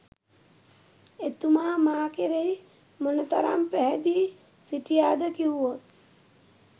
එතුමා මා කෙරෙහි මොනතරම් පැහැදී සිටියාද කිව්වොත්